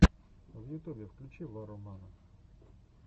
в ютубе включи варромана